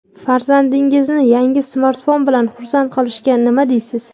Farzandingizni yangi smartfon bilan xursand qilishga nima deysiz?.